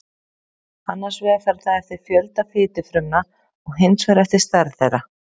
annars vegar fer það eftir fjölda fitufrumna og hins vegar eftir stærð þeirra